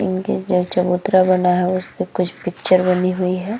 इनके जो चबूतरा बना है उसपे कुछ पिक्चर बनी हुई है।